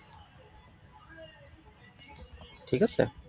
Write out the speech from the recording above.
ঠিক আছে।